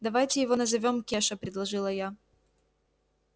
давайте его назовём кеша предложила я